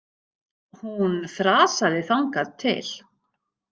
Hún þrasaði þangað til.